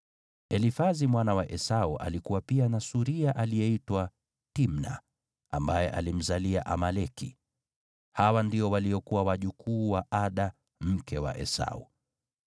Elifazi mwana wa Esau alikuwa pia na suria aliyeitwa Timna, ambaye alimzalia Amaleki. Hawa ndio waliokuwa wajukuu wa Ada mke wa Esau.